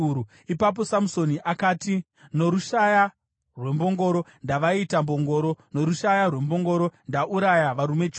Ipapo Samusoni akati, “Norushaya rwembongoro ndavaita mbongoro. Norushaya rwembongoro ndauraya varume chiuru.”